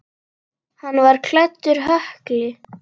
Hann var klæddur hökli.